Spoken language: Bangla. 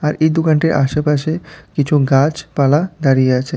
আর এই দোকানটির আশেপাশে কিছু গাছপালা দাঁড়িয়ে আছে।